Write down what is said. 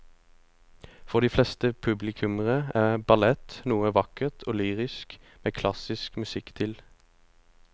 For de fleste publikummere er ballett noe vakkert og lyrisk med klassisk musikk til.